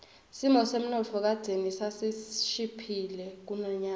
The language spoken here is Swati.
simo semnotfo kadzeni sasishiphile kunanyalo